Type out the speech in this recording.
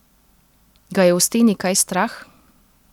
Ga je v steni kaj strah?